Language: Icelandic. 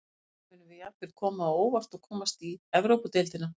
Kannski munum við jafnvel koma á óvart og komast í Evrópudeildina.